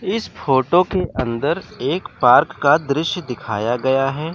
इस फोटो के अंदर एक पार्क का दृश्य दिखाया गया है।